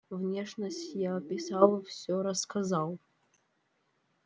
внешность я описал всё рассказал